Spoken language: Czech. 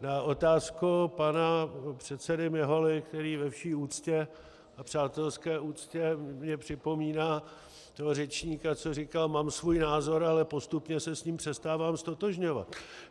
na otázku pana předsedy Miholy, který ve vší úctě, a přátelské úctě, mně připomíná toho řečníka, co říkal "mám svůj názor", ale postupně se s ním přestával ztotožňovat.